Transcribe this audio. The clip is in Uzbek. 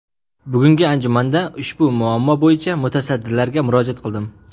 Bugungi anjumanda ushbu muammo bo‘yicha mutasaddilarga murojaat qildim.